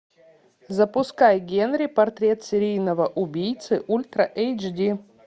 запускай генри портрет серийного убийцы ультра эйчди